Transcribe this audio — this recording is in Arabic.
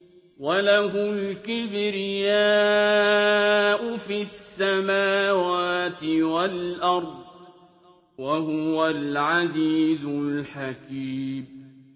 وَلَهُ الْكِبْرِيَاءُ فِي السَّمَاوَاتِ وَالْأَرْضِ ۖ وَهُوَ الْعَزِيزُ الْحَكِيمُ